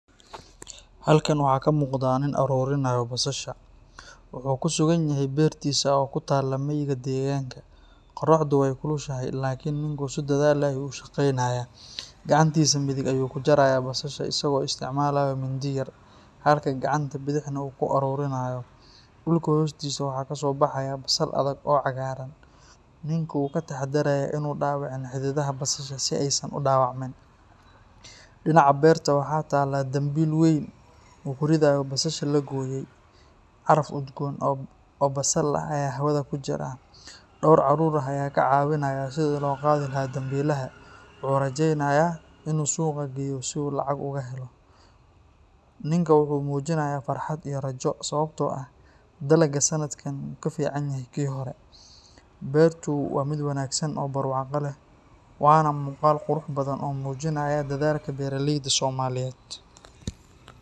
Halkan waxaa ka muuqda nin aruurinayo basasha. Wuxuu ku sugan yahay beertiisa oo ku taalla miyiga deegaanka. Qorraxdu way kulushahay, laakin ninku si dadaal leh ayuu u shaqeynayaa. Gacantiisa midig ayuu ku jarayaa basasha isagoo isticmaalaya mindi yaryar, halka gacanta bidixna uu ku uruurinayo. Dhulka hoostiisa waxaa ka soo baxaya basal adag oo cagaaran. Ninku wuu ka taxadarayaa inuu dhaawicin xididdada basasha si aysan u dhaawacmin. Dhinaca beerta waxaa taalla dambiil weyn oo uu ku ridayo basasha la gooyey. Caraf udgoon oo basal ah ayaa hawada ku jira. Dhowr carruur ah ayaa ka caawinaya sidii loo qaadi lahaa dambiilaha. Wuxuu rajeynayaa inuu suuqa geeyo si uu lacag uga helo. Ninku wuxuu muujinayaa farxad iyo rajo, sababtoo ah dalagga sanadkan wuu ka fiicanyahay kii hore. Beertu waa mid wanaagsan oo barwaaqo leh. Waana muuqaal qurux badan oo muujinaya dadaalka beeraleyda Soomaaliyeed.